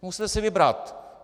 Musíte si vybrat!